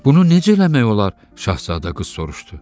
Bunu necə eləmək olar, Şahzadə qız soruşdu.